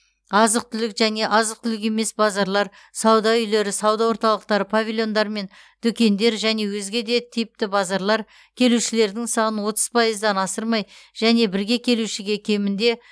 азық түлік және азық түлік емес базарлар сауда үйлері сауда орталықтары павильондар мен дүкендер және өзге де типті базарлар келушілердің санын отыз пайыздан асырмай және бірге келушіге кемінде